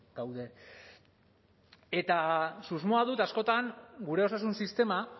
gaude eta susmoa dut askotan gure osasun sistema